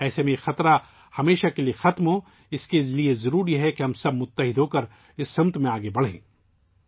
ایسے میں اس خطرے کو ہمیشہ کے لیے ختم کرنے کے لیے ضروری ہے کہ ہم سب مل کر اس سمت میں آگے بڑھیں